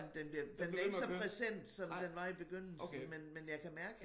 Den bliver den er ikke så present som den var i begyndelsen men men jeg kan mærke